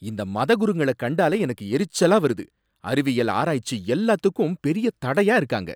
இந்த மதகுருங்கள கண்டாலே எனக்கு எரிச்சலா வருது, அறிவியல், ஆராய்ச்சி எல்லாத்துக்கும் பெரிய தடையா இருக்காங்க.